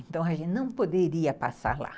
Então a gente não poderia passar lá.